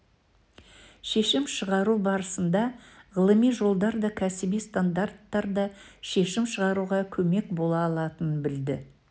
шешім шығару барысында ғылыми жолдар да кәсіби стандарттар да шешім шығаруға көмек бола алатынын білді